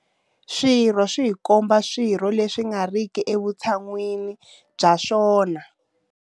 Swirho swihi kumbe swihi leswi nga ri ki evutshan'wini bya swona.